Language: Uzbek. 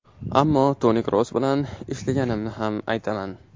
Ammo Toni Kroos bilan ishlaganimni ham aytaman.